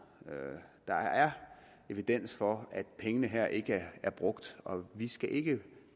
der er evidens for at pengene her ikke er brugt og vi skal ikke